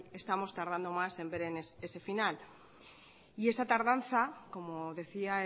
estamos tardando más en ver ese final y esa tardanza como decía